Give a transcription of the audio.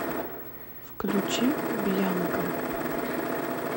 включи бьянка